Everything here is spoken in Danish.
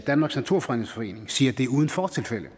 danmarks naturfredningsforening siger at det er uden fortilfælde